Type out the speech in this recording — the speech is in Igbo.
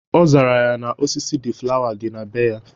Ọ zara ya na osisi deeflawa dị na bee ya.